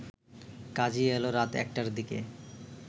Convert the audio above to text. কাজি এল রাত একটার দিকে